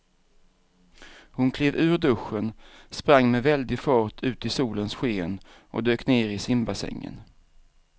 Hon klev ur duschen, sprang med väldig fart ut i solens sken och dök ner i simbassängen.